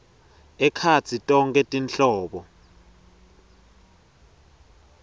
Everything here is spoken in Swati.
ekhatsi tonkhe tinhlobo